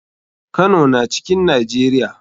Kano na cikn nijeria.